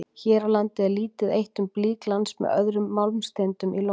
Hér á landi er lítið eitt um blýglans með öðrum málmsteindum í Lóni.